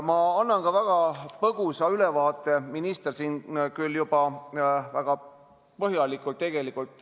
Ma annan väga põgusa ülevaate, kuna minister juba lahkas eelnõu väga põhjalikult.